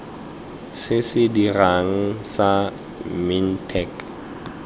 se se dirang sa mintech